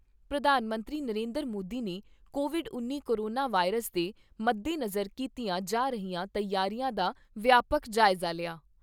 ਪ੍ਰਧਾਨ ਮੰਤਰੀ ਨਰਿੰਦਰ ਮੋਦੀ ਨੇ ਕੋਵਿਡ ਉੱਨੀ ਕੋਰੋਨਾ ਵਾਇਰਸ ਦੇ ਮੱਦੇਨਜ਼ਰ ਕੀਤੀਆਂ ਜਾ ਰਹੀਆਂ ਤਿਆਰੀਆਂ ਦਾ ਵਿਆਪਕ ਜਾਇਜਾ ਲਿਆ।